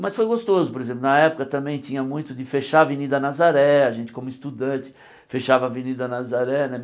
Mas foi gostoso, por exemplo, na época também tinha muito de fechar a Avenida Nazaré, a gente como estudante fechava a Avenida Nazaré né.